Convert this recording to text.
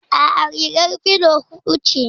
Aa, rigar filo hudu ce